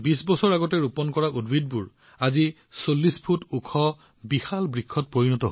কিন্তু ২০ বছৰ পূৰ্বে ৰোপণ কৰা এই গছপুলিবোৰ ৪০ ফুট ওখ ডাঙৰ বৃক্ষলৈ ৰূপান্তৰিত হৈছে